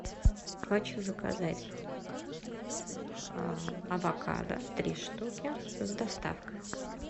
хочу заказать авокадо три штуки с доставкой